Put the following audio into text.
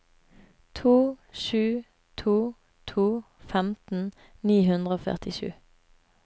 to sju to to femten ni hundre og førtisju